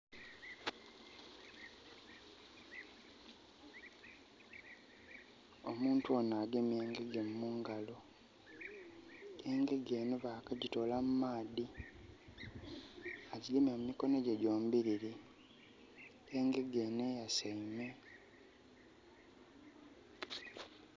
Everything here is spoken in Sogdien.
Omuntu onho agemye engege mungalo. Engege enho bakagyitoola mu maadhi. Agigemye mu mikono gye gyombilili. Engege enho eyasaime.